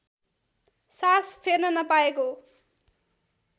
सास फेर्न नपाएको